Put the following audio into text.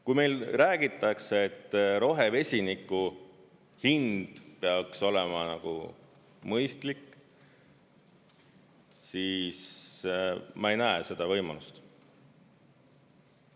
Kui meil räägitakse, et rohevesiniku hind peaks olema mõistlik, siis ma ei näe seda võimalust.